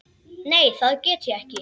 Nei, það get ég ekki.